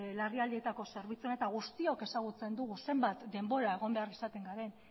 larrialdietako zerbitzuan eta guztiok ezagutzen dugu zenbat denbora egon behar izatengaren